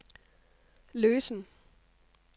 løsen